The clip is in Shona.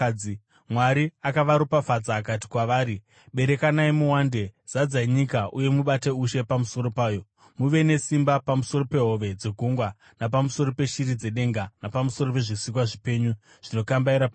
Mwari akavaropafadza akati kwavari, “Berekanai muwande; zadzai nyika uye mubate ushe pamusoro payo. Muve nesimba pamusoro pehove dzegungwa napamusoro peshiri dzedenga napamusoro pezvisikwa zvipenyu zvinokambaira panyika.”